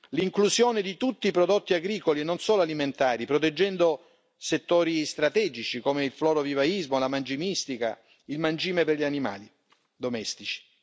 l'inclusione di tutti i prodotti agricoli e non solo alimentari, proteggendo settori strategici come il floro vivaismo e la mangimistica, il mangime per gli animali domestici